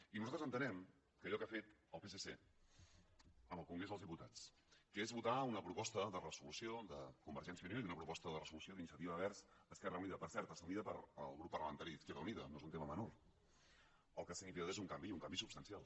i nosaltres entenem que allò que ha fet el psc en el congrés dels diputats que és votar una proposta de resolució de convergència i unió i una proposta de resolució d’iniciativa verds esquerra unida per cert assumida pel grup parlamentari d’izquierda unida no és un tema menor el que ha significat és un canvi i un canvi substancial